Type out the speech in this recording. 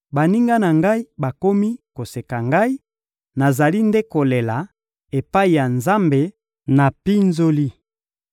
Baninga na ngai bakomi koseka ngai; nazali nde kolela epai ya Nzambe na mpinzoli.